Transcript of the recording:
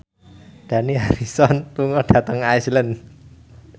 Dani Harrison lunga dhateng Iceland